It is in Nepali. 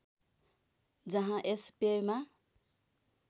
जहाँ यस पेयमा